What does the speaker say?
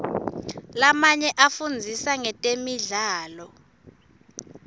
lamanye afundzisa ngetemidlalo